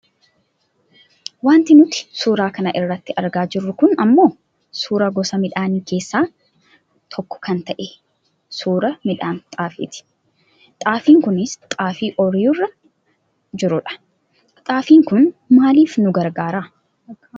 Wanti nuti suura kana irratti argaa jirru kun ammoo suuraa gosa miidhaanii keessaa tokko kan ta'e suuraa midhaan xaafiiti. Xaagiin kunis xaafii ooyiruu irra jirudha. Xaafiin kun maaliif nu gargaara ?